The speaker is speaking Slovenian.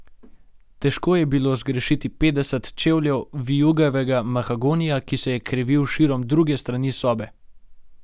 Težko je bilo zgrešiti petdeset čevljev vijugavega mahagonija, ki se je krivil širom druge strani sobe.